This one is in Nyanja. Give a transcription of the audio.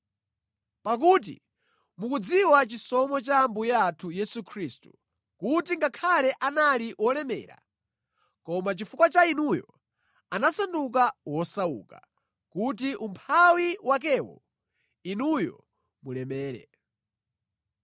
Pakuti mukudziwa chisomo cha Ambuye athu Yesu Khristu, kuti ngakhale anali wolemera, koma chifukwa cha inuyo anasanduka wosauka, kuti umphawi wakewo, inuyo mulemere.